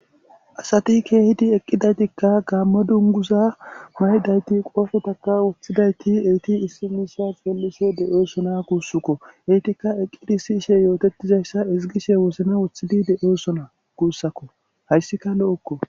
Asati keehidi eqqidaytikka gaammo dunguza maydayti qoofotaka woththidayti eti issi miisa peellise de'oosona kuussukko etikka eqqidi issi ishe yootettizayssa izigishe wosna woththidi de'oosona guussakko hayssika lo'okko